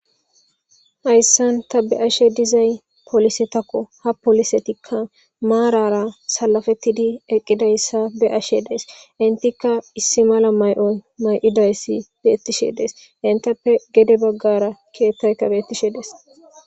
Hayssan ta beashe dizay polise takko hapolisetikka maarara salafettidi eqqidayssa beashe dees intikka issi mala may'on may'idayssi beettishe dees intappe gede baggara kiyettayka beettishe dees.